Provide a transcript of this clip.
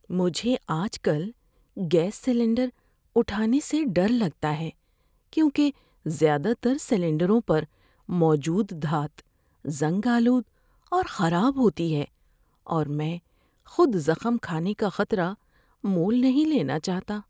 مجھے آج کل گیس سلنڈر اٹھانے سے ڈر لگتا ہے کیونکہ زیادہ تر سلنڈروں پر موجود دھات زنگ آلود اور خراب ہوتی ہے اور میں خود زخم کھانے کا خطرہ مول لینا نہیں چاہتا۔